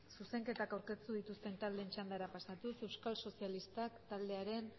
zuzenketak aurkeztu dituzten taldeen txandara pasatuz euskal sozialistak taldearen